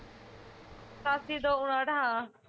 ਠਾਸੀ ਦੋ ਉਣਾਹਟ ਹਾਂ